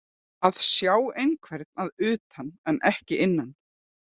Að sjá einhvern að utan en ekki innan